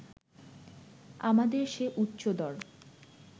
আমাদের সে উচ্চদর